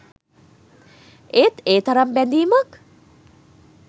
ඒත් ඒ තරම් බැඳීමක්